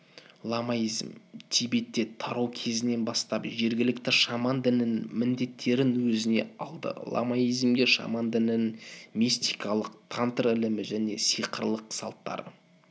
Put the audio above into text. ламаизм тибетте тарау кезінен бастап жергілікті шаман дінінің міндеттерін өзіне алды ламаизмге шаман дінінің мистикалык тантр ілімі және сикырлық салттары